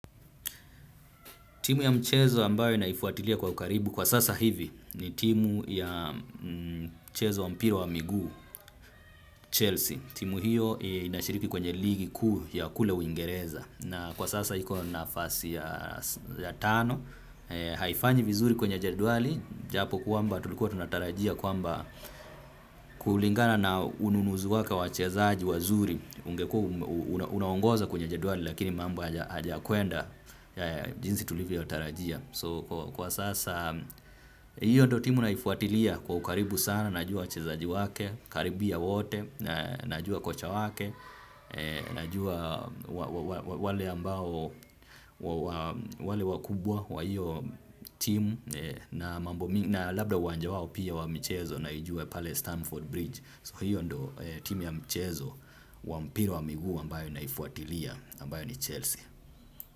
Timu ya mchezo ambayo naifuatilia kwa ukaribu kwa sasa hivi ni timu ya mchezo wa mpira wa miguu, Chelsea. Timu hiyo inashiriki kwenye ligi kuu ya kule uingereza. Na kwa sasa iko nafasi ya tano, haifanyi vizuri kwenye jedwali, japo kwamba tulikuwa tunatarajia kwamba kulingana na ununuzi wake wa wachezaji wazuri, ungekuwa unaongoza kwenye jedwali lakini mambo hajakwenda jinsi tulivyo tarajia. Kwa sasa hiyo ndo timu naifuatilia kwa ukaribu sana, najua wachezaji wake, karibia wote, najua kocha wake, najua wale ambao wale wakubwa wa hiyo timu na labda uwanja wao pia wa michezo naijua pale Stamford Bridge. So hiyo ndo timu ya mchezo wampira wa mguu ambayo naifuatilia ambayo ni Chelsea.